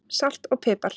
Salt og pipar